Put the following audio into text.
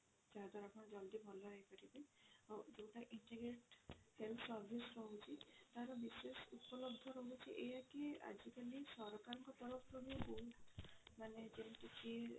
ଯାହା ଦ୍ଵାରା ଆପଣ ଜଲ୍ଦି ଭଲ ହେଇ ପାରିବେ ଆଉ ଯଉଟା integrate health service ରହୁଛି ତାର ବିଶେଷ ଉପଲବ୍ଧ ରହୁଛି ଏଇଆ କି ଆଜି କାଲି ସରକାରଙ୍କ ତରଫ ରୁ ବି ବହୁତ ମାନେ ଯେମିତି କି